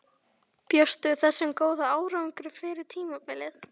Bjóstu við þessum góða árangri fyrir tímabilið?